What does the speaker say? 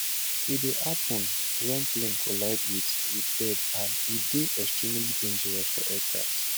e dey happun wen plane collide wit wit bird and e dey extremely dangerous for aircraft